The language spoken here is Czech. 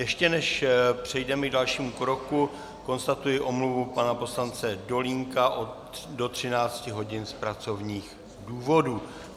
Ještě než přejdeme k dalšímu kroku, konstatuji omluvu pana poslance Dolínka do 13 hodin z pracovních důvodů.